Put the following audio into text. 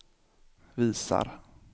visar